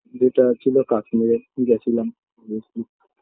যেটা ছিল কাশ্মীরে গেছিলাম recently